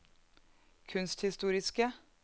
kunsthistoriske